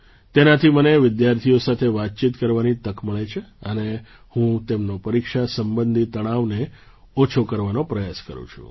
તેનાથી મને વિદ્યાર્થીઓ સાથે વાતચીત કરવાની તક મળે છે અને હું તેમનો પરીક્ષા સંબંધી તણાવને ઓછો કરવાનો પ્રયાસ કરું છું